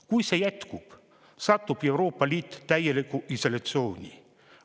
Kui see jätkub, satub Euroopa Liit täielikku isolatsiooni.